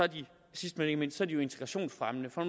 sidst men ikke mindst er de jo integrationsfremmende for